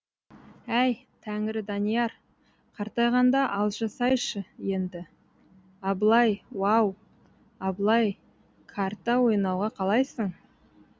әй тәңірі данияр қартайғанда алжысайшы енді абылай уау абылай карта ойнауға қалайсың